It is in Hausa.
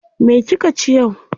Me kika ci yau?